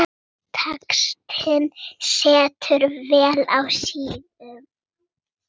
Textinn situr vel á síðum.